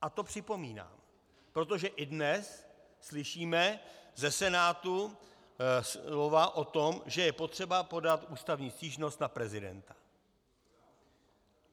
A to připomínám, protože i dnes slyšíme ze Senátu slova o tom, že je potřeba podat ústavní stížnost na prezidenta.